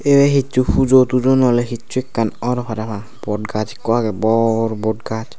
ibe hicchu pujo tujo nole hicchu ekkan or para hang bodgaz ekko agey bor bodgaz.